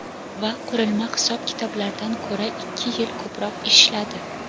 va qurilma hisob-kitoblardan ko‘ra ikki yil ko‘proq ishladi.